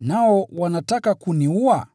nao wanataka kuniua?”